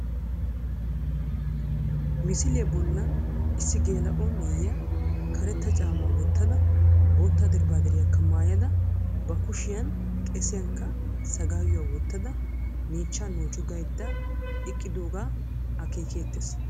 Misiliya bollan issi geela"o na''iya karetta caammaa wottada bootta dirbbaadiriyakka maayada.ba kushiyan qesiyankka sagaawuwa wottada miichchaa noocu gaydda eqqidoogaa akeekeettees